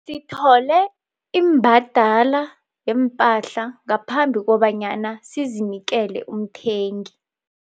Sithole imbadala yeempahla ngaphambi kobanyana sizinikele umthengi.